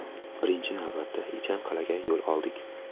Birinchi navbatda, Ichan Qal’aga yo‘l oldik.